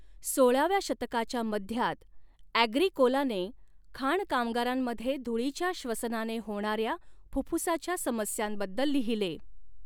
सोळाव्या शतकाच्या मध्यात, ऍग्रीकोलाने खाण कामगारांमध्ये धुळीच्या श्वसनाने होणाऱ्या फुफ्फुसाच्या समस्यांबद्दल लिहिले.